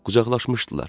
Qucaqlaşmışdılar.